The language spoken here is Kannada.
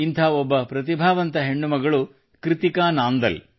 ಇಂಥ ಒಬ್ಬ ಪ್ರತಿಭಾವಂತ ಹೆಣ್ಣು ಮಗಳು ಕೃತ್ತಿಕಾ ನಾಂದಲ್